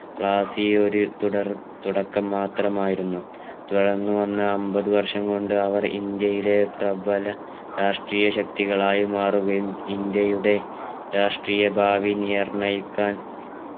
പ്ലാസി ഒരു തുടർ തുടക്കം മാത്രമായിരുന്നു തുടർന്നുവന്ന അമ്പത് വർഷം കൊണ്ട് അവർ ഇന്ത്യയുടെ പ്രബല രാഷ്ട്രീയ ശക്തികളായി മാറുകയും ഇന്ത്യയുടെ രാഷ്ട്രീയ ഭാവി നിർണയിക്കാൻ